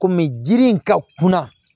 Kɔmi jiri in ka kunna